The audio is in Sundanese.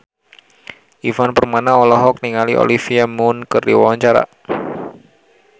Ivan Permana olohok ningali Olivia Munn keur diwawancara